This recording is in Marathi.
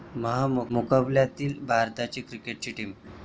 महामुकाबल्यातली भारताची क्रिकेट टीम